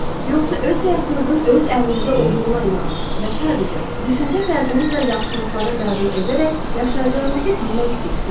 Yoxsa öz həyatınızın öz əlinizdə olduğuna inanır və sadəcə düşüncə tərzinizlə yaxşılıqları qəbul edərək yaşayacağınızı bilmək istəyirsiz?